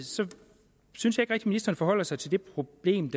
synes jeg ikke ministeren forholder sig til det problem